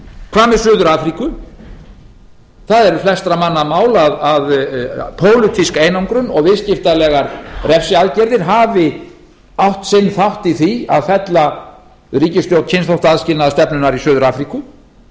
hvað með suður afríku það er flestra manna mál að pólitísk einangrun og viðskiptalegar refsiaðgerðir hafi átt sinn þátt í því að fella ríkisstjórn kynþáttaaðskilnaðarstefnunnar í suður afríku